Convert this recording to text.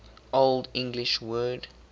old english word